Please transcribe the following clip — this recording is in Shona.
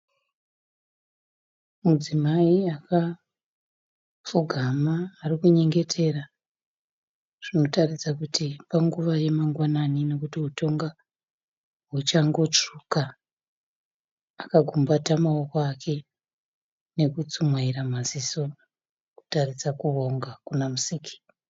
Mudzimai akapfugama ari kunyengetera zvinotaridza kuti panguva yamangwani nekuti hutonga huchangotsvuka aka gumbata maoko ake nekutsumwaidza maziso kutaridza kuvonga kuna musiki.